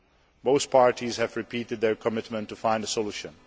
Both parties have repeated their commitment to finding a solution.